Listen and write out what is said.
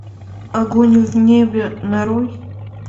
огонь в небе нарой